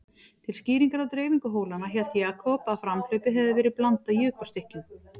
Til skýringar á dreifingu hólanna, hélt Jakob að framhlaupið hefði verið blandað jökulstykkjum.